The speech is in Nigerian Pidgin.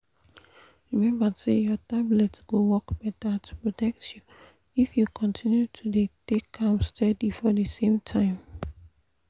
remember say your tablet go work better to protect you if you continue to dey take am steady for the same time.